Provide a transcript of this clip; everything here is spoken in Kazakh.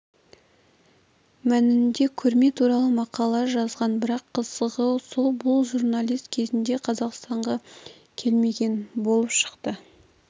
мәнінде көрме туралы мақала жазған бірақ қызығы сол бұл журналист кезінде қазақстанға келмеген болып шықты